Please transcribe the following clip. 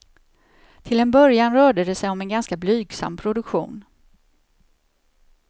Till en början rörde det sig om en ganska blygsam produktion.